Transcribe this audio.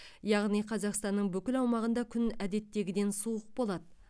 яғни қазақстанның бүкіл аумағында күн әдеттегіден суық болады